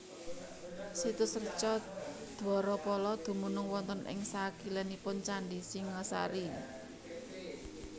Situs Reca Dwarapala dumunung wonten ing sakilénipun Candhi Singhasari